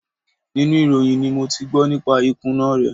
Inú ìròyìn ni mo ti gbọ́ nípa ìkùnà rẹ̀.